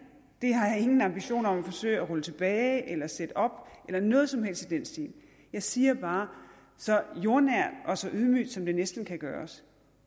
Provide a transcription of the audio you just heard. det har jeg ingen ambitioner om at forsøge at rulle tilbage eller sætte op eller noget som helst i den stil jeg siger bare så jordnært og så ydmygt som det næsten kan gøres